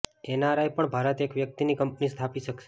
NRI પણ ભારતમાં એક વ્યક્તિની કંપની સ્થાપી શક્શે